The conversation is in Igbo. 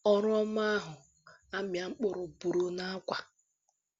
Ọrụ ọma ahụ amịa mkpụrụ pụrụ n'Awka